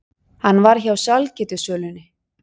Hann var hjá sælgætissölunni.